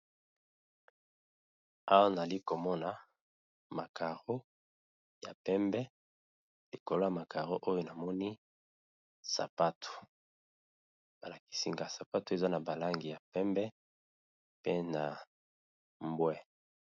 Awa nali komoni ba Karo ya kangi ya pembe lokolo Nango esa ba sapatu ya kangi ya pembe